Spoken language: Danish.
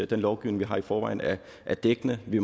den lovgivning vi har i forvejen er er dækkende vi